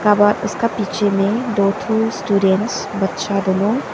व इसका पीछे में दो ठो स्टूडेंट्स बच्चा दोनों--